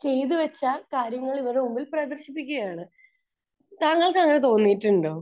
ചെയ്ത് വെച്ച കാര്യങ്ങൾ ഇവരുടെ ഉള്ളിൽ പ്രദർശിപ്പിക്കുകയാണ്. താങ്കൾക്കങ്ങനെ തോന്നിയിട്ടുണ്ടോ?